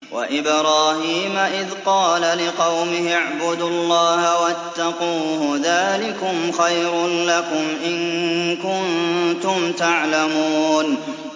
وَإِبْرَاهِيمَ إِذْ قَالَ لِقَوْمِهِ اعْبُدُوا اللَّهَ وَاتَّقُوهُ ۖ ذَٰلِكُمْ خَيْرٌ لَّكُمْ إِن كُنتُمْ تَعْلَمُونَ